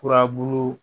Furabulu